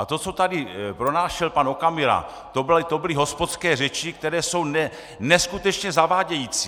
A to, co tady pronášel pan Okamura, to byly hospodské řeči, které jsou neskutečně zavádějící!